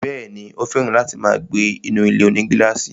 Bẹ́ẹ̀ni, ó fẹ̀ràn láti máa gbé inú ilé-onígílàsì